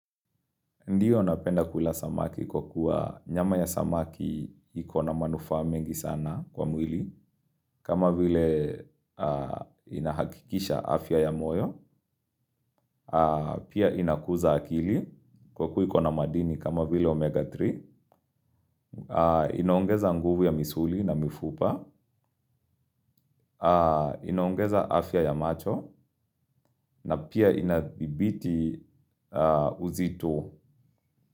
Ndiyo napenda kula samaki kwa kuwa nyama ya samaki ikona manufa mengi sana kwa mwili kama vile inahakikisha afya ya moyo, pia inakuza akili kwa kuwa ikona madini kama vile omega tatu, inaongeza nguvu ya misuli na mifupa, inaongeza afya ya macho na pia inadibiti uzito.